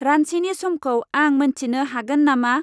रान्चिनि समखौ आं मोन्थिनो हागोन नामा?